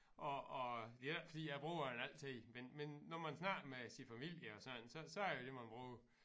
Og og det er ikke fordi jeg bruger den altid men men når man snakker med sin familie og sådan så er det det man bruger